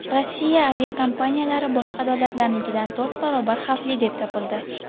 Rossiya aviakompaniyalari boshqa davlatlarnikidan to‘rt barobar xavfli deb topildi.